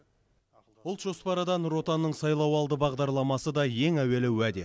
ұлт жоспары да нұр отанның сайлауалды бағдарламасы да ең әуелі уәде